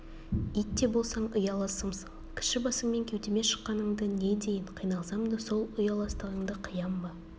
ит те болсаң ұяласымсың кіші басыңмен кеудеме шыққаныңды не дейін қиналсам да сол ұяластығыңды қиям ба